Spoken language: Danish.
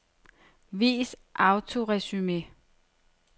Vis autoresumé.